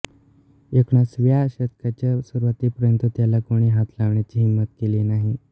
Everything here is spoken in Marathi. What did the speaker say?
एकोणिसाव्या शतकाच्या सुरुवातीपर्यंत त्याला कोणी हात लावण्याची हिंमत केली नाही